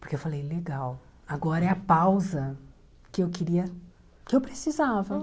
Porque eu falei, legal, agora é a pausa que eu queria, que eu precisava.